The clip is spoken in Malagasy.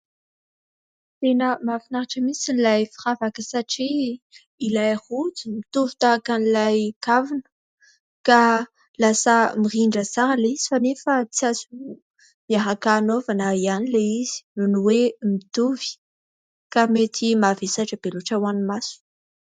Tena mahafinaritra mihitsy ilay firavaka satria ilay rojo mitovy tahaka an'ilay kavina ka lasa mirindra tsara ilay izy fa nefa tsy aso miaraka anaovana ihany ilay izy noho hoe mitovy ka mety mavesatra be loatra ho an'ny maso.